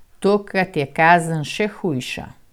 Tokrat je kazen še hujša.